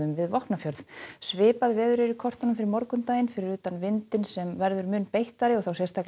við Vopnafjörð svipað veður er í kortunum fyrir morgundaginn fyrir utan vindinn sem verður mun beittari og þá sérstaklega